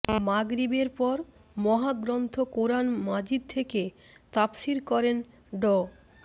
মাগরিবের পর মহাগ্রন্থ কোরআন মাজিদ থেকে তাফসির করেন ড